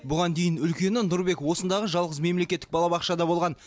бұған дейін үлкені нұрбек осындағы жалғыз мемлекеттік балабақшада болған